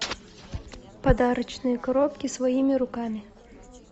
подарочные коробки своими руками